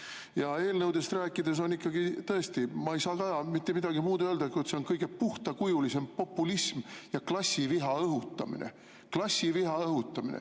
Aga kui eelnõudest rääkida, siis tõesti ma ei saa mitte midagi muud öelda, kui et see on kõige puhtakujulisem populism ja klassiviha õhutamine.